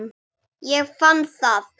Ég fann það!